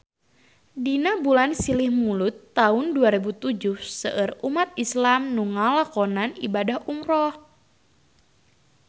Dina bulan Silih Mulud taun dua rebu tujuh seueur umat islam nu ngalakonan ibadah umrah